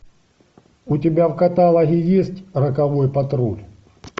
у тебя в каталоге есть роковой патруль